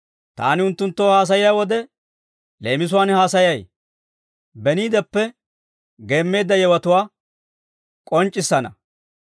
Taani unttunttoo haasayiyaa wode, leemisuwaan haasayay; beniideppe geemmeedda yewotuwaa k'onc'c'issana.